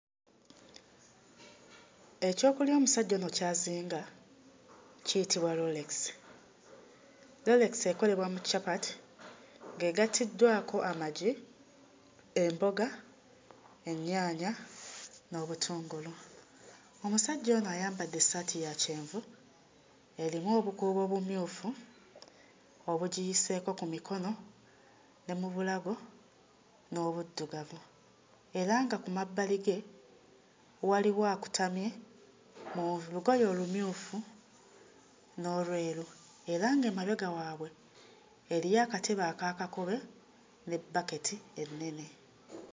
Ekyokulya omusajja ono ky'azinga kiyitibwa rolex; rolex ekolebwa mu capati ng'egatiddwako amagi, emboga, ennyaanya n'obutungulu. Omusajja ono ayambadde essaati ya kyenvu erimu obukuubo obumyufu obugiyiseeko ku mikono ne mu bulago n'obuddugavu era nga ku mabbali ge walwo akutamye mu lugoye olumyufu n'olweru era ng'emabega waabwe eriyo akatebe akakakobe ne bbaketi ennene.